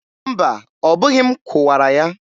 mba, ọ bụghị m kụwara ya.